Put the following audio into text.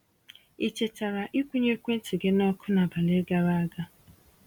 Ị chetara ị kwụnye ekwentị gị nọkụ n’abalị gara aga?